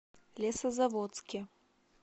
лесозаводске